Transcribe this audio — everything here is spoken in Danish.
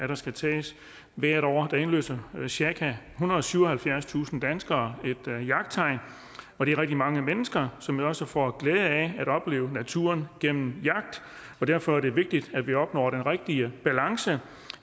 der skal tages hvert år indløser cirka ethundrede og syvoghalvfjerdstusind danskere jagttegn og det er rigtig mange mennesker som jo også får glæde af at opleve naturen gennem jagt derfor er det vigtigt at at vi opnår den rigtige balance